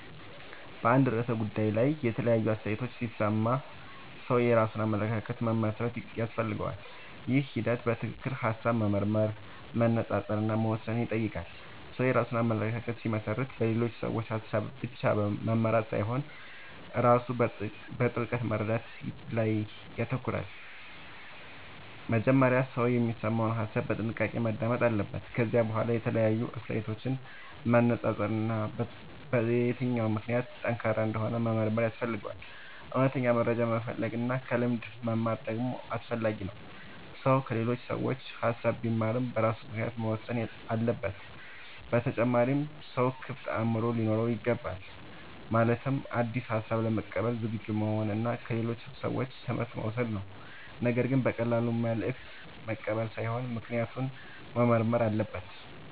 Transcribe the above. በአንድ ርዕሰ ጉዳይ ላይ የተለያዩ አስተያየቶችን ሲሰማ ሰው የራሱን አመለካከት መመስረት ያስፈልገዋል። ይህ ሂደት በትክክል ሐሳብ መመርመር፣ መነጻጸር እና መወሰን ይጠይቃል። ሰው የራሱን አመለካከት ሲመሰርት በሌሎች ሰዎች ሐሳብ ብቻ መመራት ሳይሆን ራሱ በጥልቅ መረዳት ላይ ይተኮራል። መጀመሪያ ሰው የሚሰማውን ሐሳብ በጥንቃቄ ማዳመጥ አለበት። ከዚያ በኋላ የተለያዩ አስተያየቶችን ማነጻጸር እና የትኛው ምክንያት ጠንካራ እንደሆነ መመርመር ያስፈልጋል። እውነተኛ መረጃ መፈለግ እና ከልምድ መማር ደግሞ አስፈላጊ ነው። ሰው ከሌሎች ሰዎች ሐሳብ ቢማርም በራሱ ምክንያት መወሰን አለበት። በተጨማሪም ሰው ክፍት አእምሮ ሊኖረው ይገባል። ማለትም አዲስ ሐሳብ ለመቀበል ዝግጁ መሆን እና ከሌሎች ሰዎች ትምህርት መውሰድ ነው። ነገር ግን በቀላሉ መልእክት መቀበል ሳይሆን ምክንያቱን መመርመር አለበት።